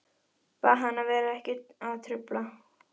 Hvers vegna ekki að gera henni til hæfis, gleðja hana?